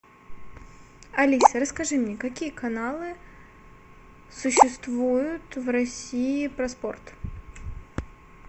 алиса расскажи мне какие каналы существуют в россии про спорт